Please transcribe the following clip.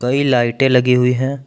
कई लाइटें लगी हुई हैं।